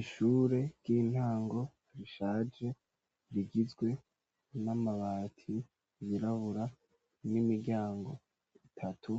Ishure ry'intango, rishaje, rigizwe n'amabati yirabura, n'imiryango itatu,